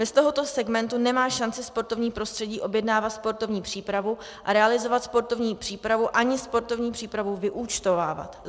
Bez tohoto segmentu nemá šanci sportovní prostředí objednávat sportovní přípravu a realizovat sportovní přípravu ani sportovní přípravu vyúčtovávat.